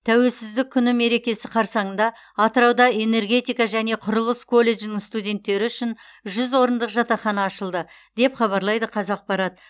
тәуелсіздік күні мерекесі қарсаңында атырауда энергетика және құрылыс колледжінің студенттері үшін жүз орындық жатақхана ашылды деп хабарлайды қазақпарат